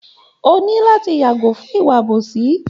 O ní láti yàgò fún ìwà àbòsí